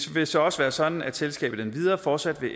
vil så også være sådan at selskabet endvidere fortsat